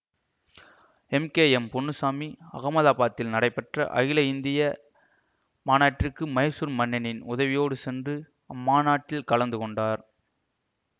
M K M Ponnuchamy அகமதாபாத்தில் நடைபெற்ற அகில இந்திய மாநாட்டிற்கு மைசூர் மன்னரின் உதவியோடு சென்று அம்மாநாட்டில் கலந்து கொண்டார்